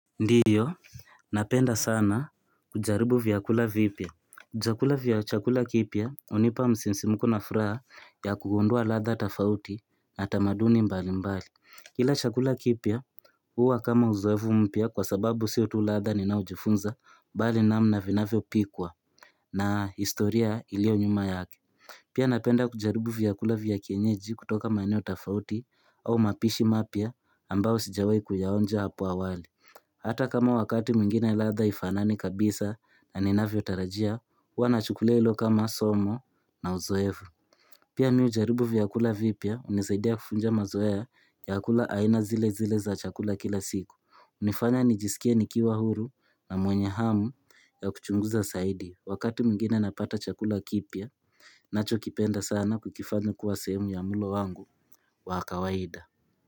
Ndiyo napenda sana kujaribu vyakula vipya. Chakula kipya hunipa msinsimuko na furaha ya kugundua latha tofauti na tamaduni mbalimbali kila chakula kipya huwa kama uzoefu mpya kwa sababu sio tu latha ninaojifunza bali namna vinavyopikwa na historia ilio nyuma yake pia napenda kujaribu vyakula vya kienyeji kutoka maeneo tafauti au mapishi mapya ambao sijawai kuyaonja hapo awali Hata kama wakati mwingine ladha haifanani kabisa na ninavyotarajia, hua nachukulia hilo kama somo na uzoevu. Pia hujaribu vyakula vipya, hunisaidia kuvunja mazoea ya kukula aina zile zile za chakula kila siku. Hunifanya nijisikie nikiwa huru na mwenye hamu ya kuchunguza zaidi. Wakati mwingine napata chakula kipya, ninachokipenda sana na kukifanya kuwa semu ya mulo wangu wa kawaida.